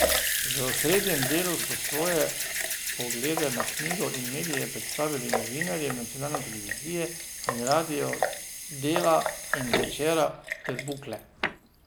V osrednjem delu so svoje poglede na knjigo in medije predstavili novinarji nacionalne televizije in radia, Dela in Večera ter Bukle.